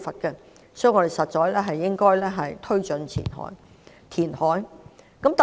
因此，我們應該推動填海。